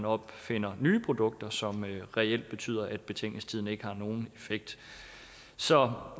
opfinder nye produkter som reelt betyder at betænkningstiden ikke har nogen effekt så